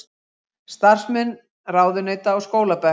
Starfsmenn ráðuneyta á skólabekk